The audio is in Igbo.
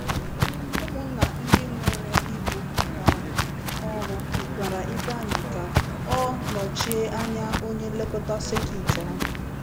Ụmụnna ndị nwere ibu um ọrụ gwara Ifeanyị ka ọ nọchie anya onye nlekọta sekit ahụ.